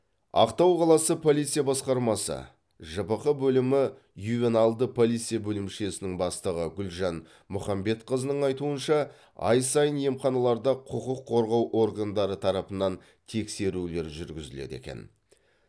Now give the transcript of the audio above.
ақтау қаласы полиция басқармасы жпқ бөлімі ювеналды полиция бөлімшесінің бастығы гүлжан мұхамбетқызының айтуынша ай сайын емханаларда құқық қорғау органдары тарапынан тексерулер жүргізіледі екен